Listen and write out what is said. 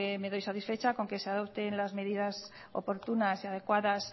me doy satisfecha con que se adopten las medidas oportunas y adecuadas